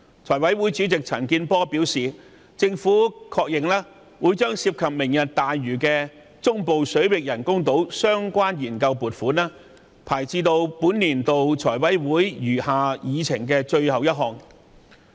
財委會主席陳健波議員表示，政府確認會將"明日大嶼"中部水域人工島的研究撥款項目排在本年度財委會餘下議程的最後一項。